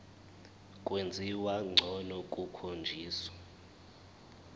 kwenziwa ngcono kukhonjiswa